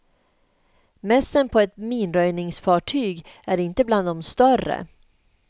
Mässen på ett minröjningsfartyg är inte bland de större.